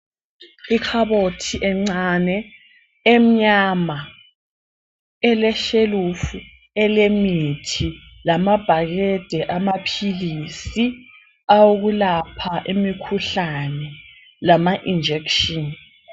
Ikhabothi encane emnyama eleshelufu elemithi lamabhakede amaphilisi awokulapha imikhuhlane lama-injection.